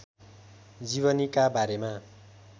जीवनीका बारेमा